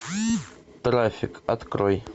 трафик открой